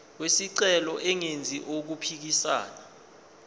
wesicelo engenzi okuphikisana